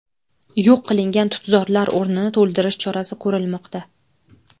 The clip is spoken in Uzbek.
Yo‘q qilingan tutzorlar o‘rnini to‘ldirish chorasi ko‘rilmoqda.